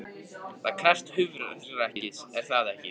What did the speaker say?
Það krefst hugrekkis, er það ekki?